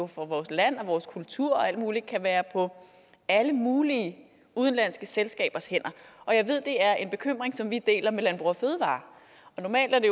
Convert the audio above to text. for vores land og vores kultur og alt muligt kan være på alle mulige udenlandske selskabers hænder jeg ved at det er en bekymring som vi deler med landbrug fødevarer normalt er det